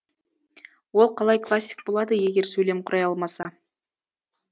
ол қалай классик болады егер сөйлем құрай алмаса